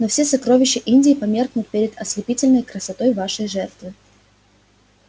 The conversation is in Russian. но все сокровища индии померкнут перед ослепительной красотой вашей жертвы